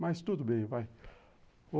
Mas tudo bem, vai.